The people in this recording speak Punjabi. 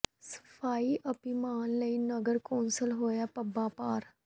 ਸਫ਼ਾਈ ਅਭਿਆਨ ਲਈ ਨਗਰ ਕੌ ਾਸਲ ਹੋਇਆ ਪੱਬਾਂ ਭਾਰ